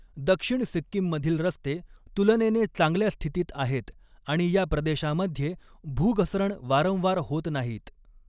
दक्षिण सिक्कीममधील रस्ते तुलनेने चांगल्या स्थितीत आहेत आणि या प्रदेशामध्ये भूघसरण वारंवार होत नाहीत.